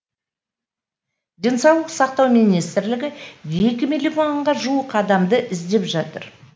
денсаулық сақтау министрлігі екі миллионға жуық адамды іздеп жатыр